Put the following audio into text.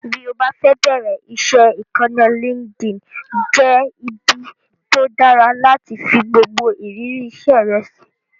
Bí o bá fẹ́ bẹ̀ẹ̀rẹ̀ iṣẹ́, ìkànnì LinkedIn jẹ́ ibi tó dára láti fi gbogbo ìrírí iṣẹ́ rẹ sí